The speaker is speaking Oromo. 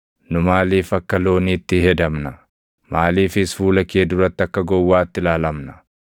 Nu maaliif akka looniitti hedamna? Maaliifis fuula kee duratti akka gowwaatti ilaalamna?